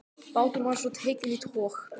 Báturinn var svo tekinn í tog.